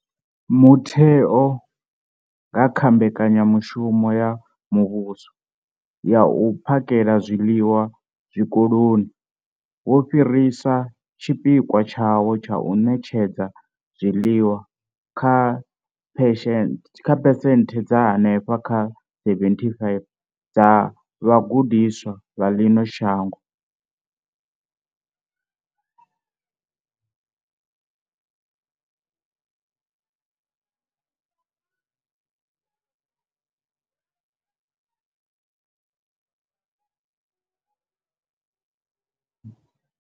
Mutheo, nga kha Mbekanyamushumo ya Muvhuso ya U phakhela zwiḽiwa Zwikoloni, wo fhirisa tshipikwa tshawo tsha u ṋetshedza zwiḽiwa kha phesenthe dza henefha kha 75 dza vhagudiswa vha ḽino shango.